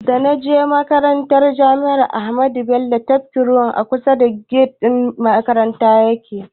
Da naje jami'ar Amadu Bello naga tafkin ruwa a kusa da get ɗin makarantar.